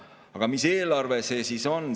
Aga mis eelarve see siis on?